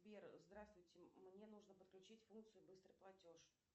сбер здравствуйте мне нужно подключить функцию быстрый платеж